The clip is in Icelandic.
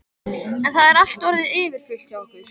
En það er allt orðið yfirfullt hjá okkur.